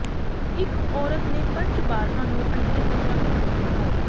ਇਕ ਔਰਤ ਨੇ ਪੰਜ ਬਾਰ੍ਹਾ ਨੂੰ ਅੰਡੇ ਤੱਕ ਰੱਖ ਸਕਦੇ ਹੋ